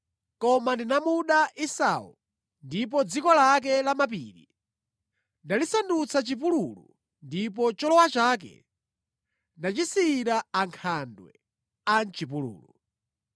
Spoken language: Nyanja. koma ndinamuda Esau, ndipo dziko lake lamapiri ndalisandutsa chipululu ndipo cholowa chake ndasiyira ankhandwe a mʼchipululu.”